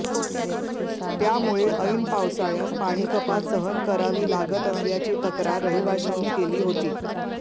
त्यामुळे ऐन पावसाळ्यात पाणीकपात सहन करावी लागत असल्याची तक्रार रहिवाशांनी केली होती